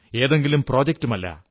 ഏതെങ്കിലും പദ്ധതിയുമല്ല